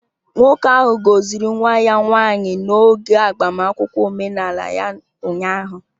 Nwoke ahụ gọziri nwa ya nwanyị n'oge agbamakwụkwọ omenala ya ụnyahụ